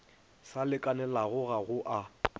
sa lekanelago ga go a